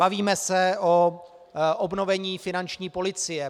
Bavíme se o obnovení finanční policie.